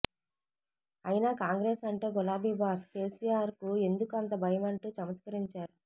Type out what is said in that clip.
అయినా కాంగ్రెస్ అంటే గులాబీ బాస్ కేసీఆర్ కు ఎందుకు అంత భయమంటూ చమత్కరించారు